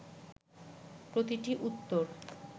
প্রতিটি উত্তর